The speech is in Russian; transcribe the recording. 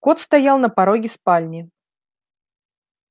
кот стоял на пороге спальни